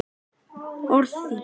Orð þín